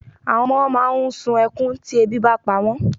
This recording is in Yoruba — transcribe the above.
Àwọn ọmọ máà ń sun ẹkún tí ebi bá pa wọ́n.